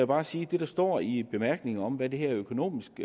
bare sige at det der står i bemærkningerne om hvad det her økonomisk